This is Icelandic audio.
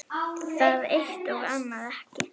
Það eitt- og annað ekki.